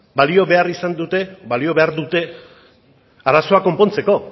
balio behar dute arazoak konpontzeko